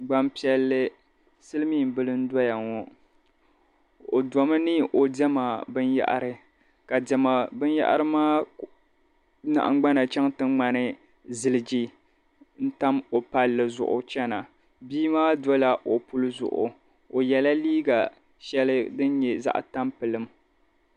Gbampiɛlli silimiimbili n-dɔya ŋo o dɔmi ni o diɛma binyɛhiri ka diɛma binyɛhiri maa nahingbana chaŋ ti ŋmani ziliji n-tam o palli zuɣu n-chana bia maa dɔla o puli zuɣu o yela liiga shɛli din nye zaɣ'tampilim.